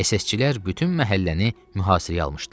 SS-çilər bütün məhəlləni mühasirəyə almışdılar.